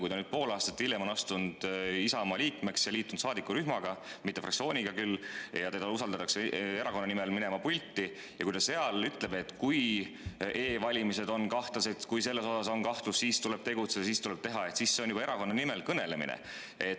Kui ta pool aastat hiljem on astunud Isamaa liikmeks ja liitunud saadikurühmaga, mitte küll fraktsiooniga, ja teda usaldatakse erakonna nimel pulti minema, aga ta seal ütleb, et kui e‑valimised on kahtlased, kui on kahtlusi, siis tuleb tegutseda ja siis tuleb midagi teha, siis see on juba erakonna nimel kõnelemine.